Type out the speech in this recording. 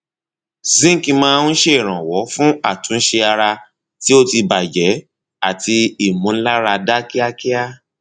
zinc máa ń ṣèrànwọ fún àtúnṣe ara tí ó ti bàjẹ àti ìmúláradá kíákíá